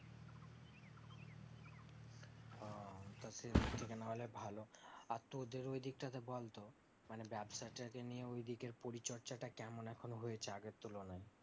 ও তো সেই দিক থেকে না হলে ভালো আর তোদের ওই দিক টাতে বলতো মানে ব্যবসা টা কে নিয়ে ওই দিকের পরিচর্চা টা কেমন এখন হয়েছে আগের তুলনায়